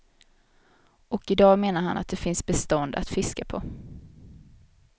Och i dag menar han att det finns bestånd att fiska på.